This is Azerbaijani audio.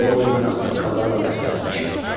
Qoy mən ağsaqqallarla məsləhətləşim.